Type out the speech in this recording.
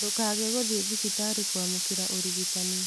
ndūkage gūthiī thibitarī kūamūkīra ūrigitani.